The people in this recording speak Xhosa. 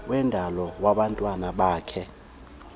wendalo wabantwana bakhe